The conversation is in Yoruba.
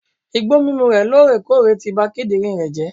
Igbó mímu re lorèkóòrè ti ba kídìnrín rè jé